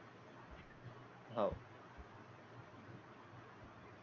हो.